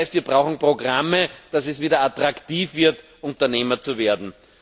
Das heißt, wir brauchen Programme, damit es wieder attraktiv wird, Unternehmer zu werden.